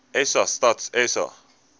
sa stats sa